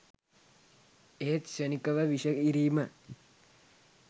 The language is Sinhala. එහෙත් ක්ෂණික ව විෂ ඉරීම